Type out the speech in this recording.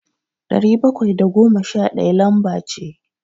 Dari bakwai da goma sha ɗaya lamba ce.